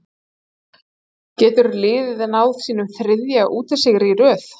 Getur liðið náð sínum þriðja útisigri í röð?